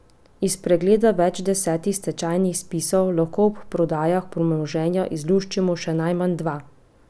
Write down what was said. Iz pregleda več deset stečajnih spisov lahko ob prodajah premoženja izluščimo še najmanj dva.